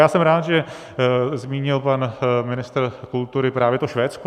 Já jsem rád, že zmínil pan ministr kultury právě to Švédsko.